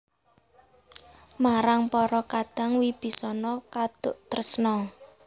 Marang para kadang Wibisana kaduk tresna